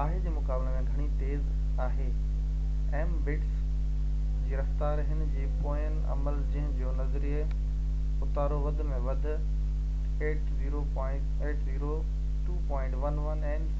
802.11n جي رفتار هن جي پوئين عمل جنهن جو نظري اتارو وڌ ۾ وڌ 600mbit/s آهي جي مقابلي ۾